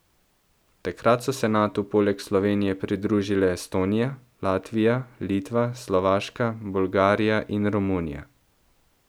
Takrat so se Natu poleg Slovenije pridružile Estonija, Latvija, Litva, Slovaška, Bolgarija in Romunija.